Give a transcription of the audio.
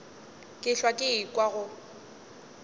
ke hlwa ke ekwa go